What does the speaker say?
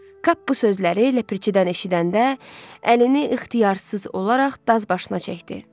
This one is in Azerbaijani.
Kap bu sözləri ləpirçidən eşidəndə əlini ixtiyarsız olaraq daz başına çəkdi.